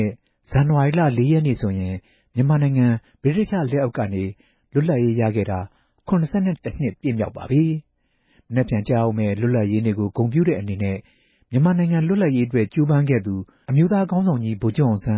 န် ဇန်နဝါရီလ ၄ ၇က်နေ့ဟာ မြန်မာနိုင်ငံရဲ့ ၇၁ နှစ်မြောက်လွတ်လပ်ရေးနေ့ ဖြစ်ပါတယ်။ မြန်မာ့လွတ်လပ်ရေးကြိုးပမ်းမှုကို ဦးဆောင်ခဲ့တဲ့ အမျိုးသားခေါင်းဆောင်ကြီး ဗိုလ်ချုပ်အောင်ဆန်